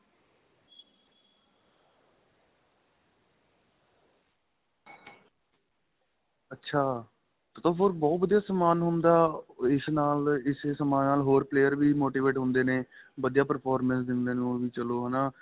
ਅੱਛਾ ਏਹ ਤਾਂ ਫ਼ੇਰ ਬਹੁਤ ਵਧੀਆ ਸਮਾਂਨ ਹੁੰਦਾ ਇਸੇ ਸਮਾਂਨ ਨਾਲ ਹੋਰ player ਵੀ motivate ਹੁੰਦੇ ਨੇ ਵਧੀਆ performance ਦਿੰਦੇ ਨੇ ਹੋਰ ਵੀ ਚਲੋ ਹੈਨਾ